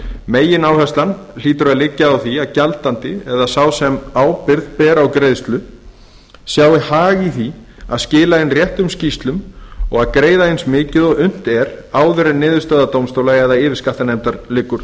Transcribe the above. megináherslan hlýtur að liggja á því að gjaldandi eða sá sem ábyrgð ber á greiðslum sjái hag í því að skila inn réttum skýrslum og greiða eins mikið og unnt er áður en niðurstaða dómstóla eða yfirskattanefndar liggur